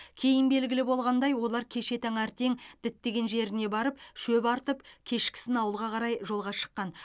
кейін белгілі болғандай олар кеше таңертең діттеген жеріне барып шөп артып кешкісін ауылға қарай жолға шыққан